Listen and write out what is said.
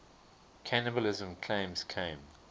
cannibalism claims came